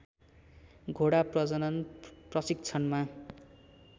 घोडा प्रजनन प्रशिक्षणमा